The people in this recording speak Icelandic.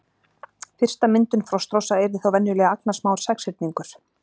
Fyrsta myndun frostrósa yrði þá venjulega agnarsmár sexhyrningur.